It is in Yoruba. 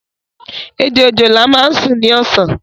Ejò òjòlá máa ń sún ní ọ̀sán